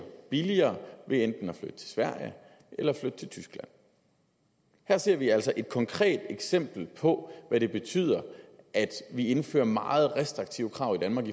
billigere ved enten at flytte til sverige eller at flytte til tyskland her ser vi altså et konkret eksempel på hvad det betyder at vi indfører meget restriktive krav i danmark